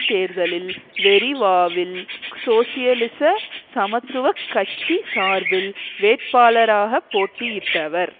தேர்தலில் வெரிவாவில் சோசியலிச சமத்துவ கட்சி சார்பில் வேட்பாளராக போட்டியிட்டவர்